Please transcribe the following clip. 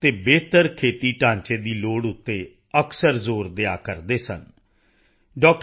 ਅਤੇ ਬਿਹਤਰ ਖੇਤੀ ਢਾਂਚੇ ਦੀ ਲੋੜ ਤੇ ਅਕਸਰ ਜ਼ੋਰ ਦਿਆ ਕਰਦੇ ਸਨ ਡਾ